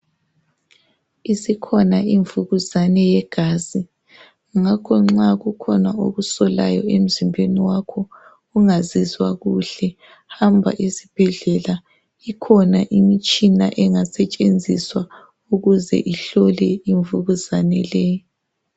Isikhona imvukuzane yegazi ngakho nxa kukhona okusolayor emzimbeni wakho ungazizwa kuhle hamba esibhedlela ikhona imitshina engasetshenziswa ukuze ukuhlole imvukuzane le.